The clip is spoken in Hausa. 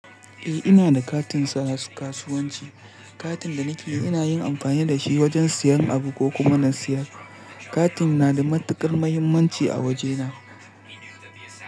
Eh, ina da katin kasuwanci. Katin da nake ina yin amfani da shi wajen siyan abu ko kuma na siyar. Katin na da matuƙar mahimmanci a wajena.